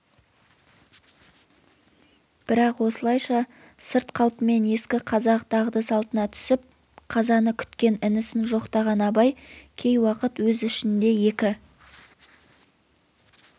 бірақ осылайша сырт қалпымен ескі қазақ дағды-салтына түсіп қазаны күткен інісін жоқтаған абай кей уақыт өз ішінде екі